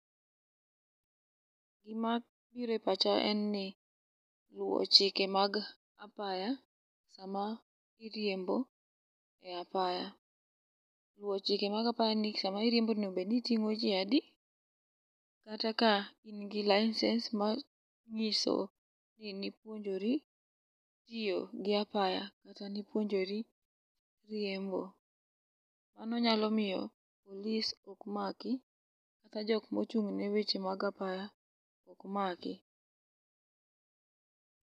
Gima biro e pacha en ni luwo chike mag apaya sama iriembo e apaya. Luwo chike mag apaya ni sama iriembo onego bed ni iting'o ji adi kata ka in gi license manyiso ni nipuonjori tiyo gi apaya kata nipuonjori riembo. Mano nyalo miyo polis ok maki kata jok mochung' ne weche mag apaya ok maki.